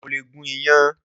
Mo lè gún iyán.